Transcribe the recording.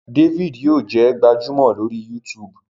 David yíò jé gbajúmò lori YouTube.